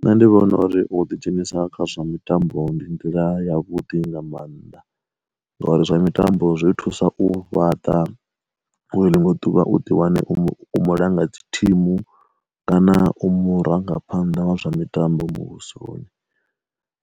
Nṋe ndi vhona uri u ḓi dzhenisa kha zwa mitambo ndi nḓila ya vhuḓi nga maanḓa, ngori zwa mitambo zwi thusa u fhaṱa uri ḽiṅwe ḓuvha u ḓi wane u mu langa dzi thimu kana u murangaphanḓa wa zwa mitambo muvhusoni.